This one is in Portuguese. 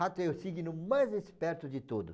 Rato é o signo mais esperto de todo.